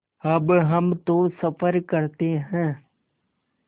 अब हम तो सफ़र करते हैं